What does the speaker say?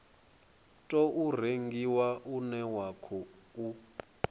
tou rengiwa une wa khou